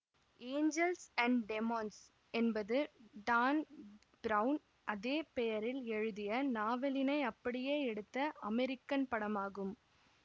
Angeles and Demons என்பது Dan Brown அதே பெயரில் எழுதிய நாவலினை அப்படியே எடுத்த அமெரிக்கன் படமாகும்